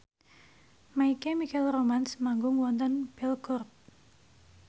My Chemical Romance manggung wonten Belgorod